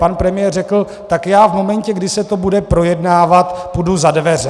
Pan premiér řekl: tak já v momentě, kdy se to bude projednávat, půjdu za dveře.